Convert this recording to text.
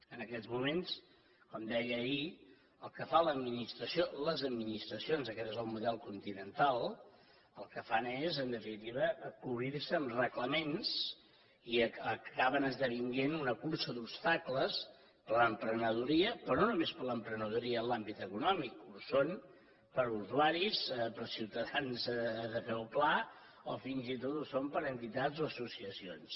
en aquests moments com deia ahir el que fa l’administració les administracions aquest és el model continental el que fan és en definitiva cobrir se amb reglaments i acaben esdevenint una cursa d’obstacles per a l’emprenedoria però no només per a l’emprenedoria en l’àmbit econòmic que ho són per a usuaris per a ciutadans de peu pla o fins i tot ho són per a entitats o associacions